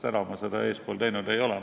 Täna ma seda eespool teinud ei ole.